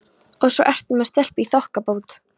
Og svo ertu með stelpu í þokkabót!